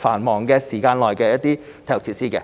繁忙時間內的體育設施。